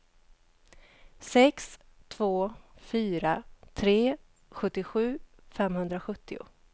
sex två fyra tre sjuttiosju femhundrasjuttio